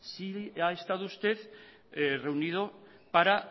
sí ha estado usted reunido para